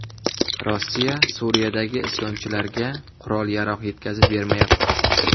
Rossiya Suriyadagi isyonchilarga qurol-yarog‘ yetkazib bermayapti.